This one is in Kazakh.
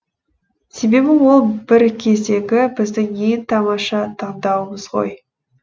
себебі ол бір кездегі біздің ең тамаша таңдауымыз ғой